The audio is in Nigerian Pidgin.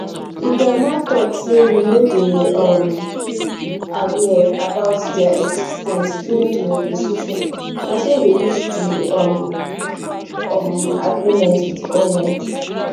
di grnma tok say we no dey um aware about dia exis ten ce during di negotiation na so we reach di um um agreement wit goment